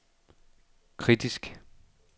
kritiske